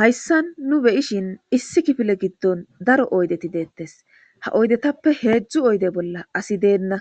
hayssan nu beyishin issi kifile giddon daro oydeti deettes ha oydetappe heedzdzu oyde bolla asi deenna